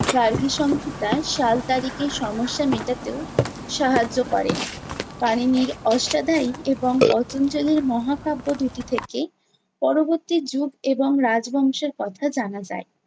গার্গীসংহিতা সাল তারিখের সমস্যা মেটাতেও সাহায্য করে। পাণিনির অষ্টাধ্যায়ী এবং পতঞ্জলির মহাকাব্য দুটি থেকে পরবর্তী যুগ এবং রাজবংশের কথা জানা যায়।